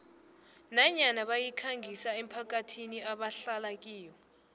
nanyana bayikhangisa emphakathini ebahlala kiyo